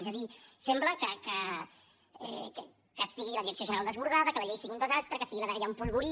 és a dir sembla que estigui la direcció general desbordada que la llei sigui un desastre que sigui la dgaia un polvorí